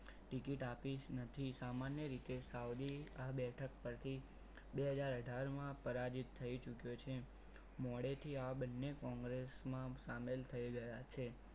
Ticket આપી જ નથી સામાન્ય રીતે સાવલી આ બેઠક પરથી બે હજાર અઢાર માં પરાજિત થઈ ચૂક્યો છે મોડેથી આ બંને કોંગ્રેસ માં સામેલ થઈ ગયા છે.